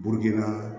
Burukina